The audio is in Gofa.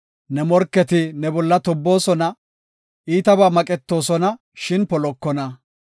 Ne morketi ne bolla tobboosona; iitabaa maqetoosona, shin polokona.